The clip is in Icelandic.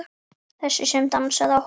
Þessi sem dansaði á hólnum.